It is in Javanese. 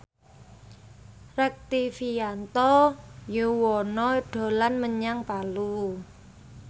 Rektivianto Yoewono dolan menyang Palu